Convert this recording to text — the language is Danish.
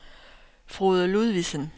Frode Ludvigsen